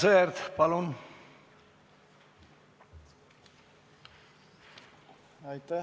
Aivar Sõerd, palun!